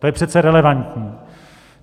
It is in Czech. To je přece relevantní.